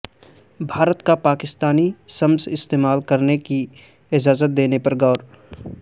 بھارت کا پاکستانی سمز استعمال کرنے کی اجازت دینے پر غور